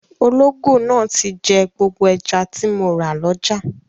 Ológò náà ti jẹ gbogbo ẹja tí mo rà lọ́jà.